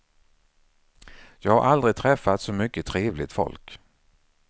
Jag har aldrig träffat så mycket trevligt folk.